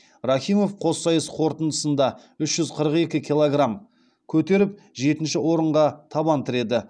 рахимов қоссайыс қорытындысында үш жүз қырық екі килограм көтеріп жетінші орынға табан тіреді